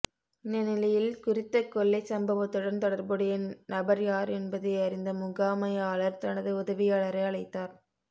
இந்த நிலையில் குறித்த கொள்ளைச் சம்பவத்துடன் தொடர்புடைய நபர் யார் என்பதை அறிந்த முகாமையாளர் தனது உதவியாளரை அழைத்தார்